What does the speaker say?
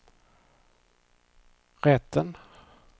rätten